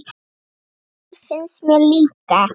Það finnst mér líka.